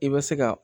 I bɛ se ka